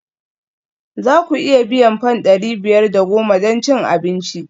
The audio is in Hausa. Za ku iya biyan fam ɗari biyar da goma don cin abinci?